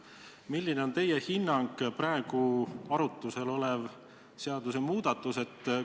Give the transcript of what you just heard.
Milline on teie hinnang praegu arutuse all oleva seadusmuudatuse kohta?